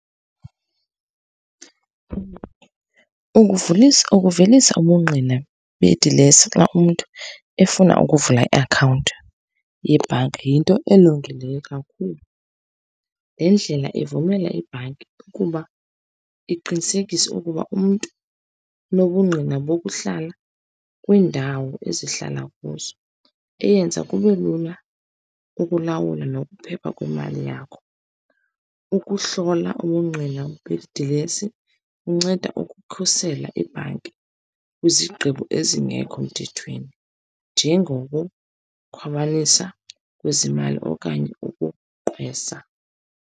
Ukuvulisa, ukuvelisa ubungqina bedilesi xa umntu efuna ukuvula i-akhawunti yebhanki yinto elungileyo kakhulu. Le ndlela ivumela ibhanki ukuba iqinisekise ukuba umntu unobungqina bokuhlala kwiindawo esihlala kuzo, eyenza kube lula ukulawula nokuphepha kwemali yakho. Ukuhlola ubungqina bedilesi kunceda ukukhusela ibhanki kwizigqibo ezingekho mthethweni, njengokukhwabanisa kwezimali okanye ukugqwesa.